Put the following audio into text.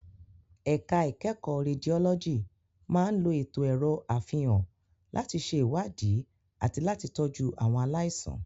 Ẹ̀ka ìkẹ́kọ̀ọ́ Rédiólọ́jì máa ń lo ètò ẹ̀rọ àfihàn láti ṣe ìwádìí àti láti tọ́jú àwọn aláìsàn.